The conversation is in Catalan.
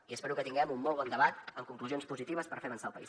i espero que tinguem un molt bon debat amb conclusions positives per fer avançar el país